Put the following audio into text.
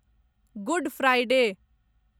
good Friday